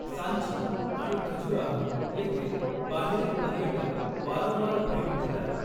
सांची आणि खजुराहो येथे बाहेरील पर्यटक वारंवार भेट देतात.